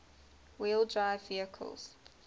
wheel drive vehicles